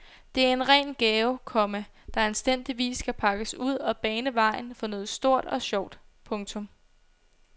Det er en ren gave, komma der anstændigvis skal pakkes ud og bane vejen for noget stort og sjovt. punktum